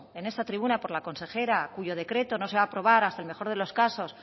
en esta tribuna por la consejera cuyo decreto no se va a aprobar hasta el mejor de los casos